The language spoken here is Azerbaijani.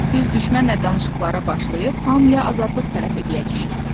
Biz düşmənlə danışıqlara başlayıb hamıya azadlıq tələb eləyəcəyik.